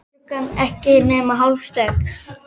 Klukkan ekki nema hálf sex.